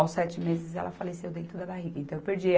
Aos sete meses ela faleceu dentro da barriga, então eu perdi.